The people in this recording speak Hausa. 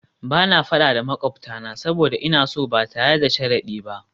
Ba na fada da makwabtana saboda ina so ba tare da sharadi ba